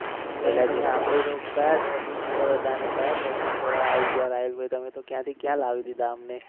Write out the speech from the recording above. કઈ ની આપડે તો કયા topic હતાને કયા topic પર આવી ગયા રાહિલ ભઈ તમે તો ક્યાં થી ક્યાં લાવી દીધા અમને